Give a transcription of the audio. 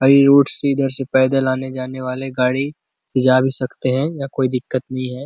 अइ रूट सीधा से पैदल आने जाने वाले गाड़ी से जा भी सकते है या कोई दिकत नहीं है।